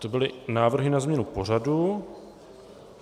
To byly návrhy na změnu pořadu.